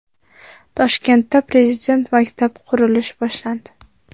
Toshkentda Prezident maktabi qurilishi boshlandi.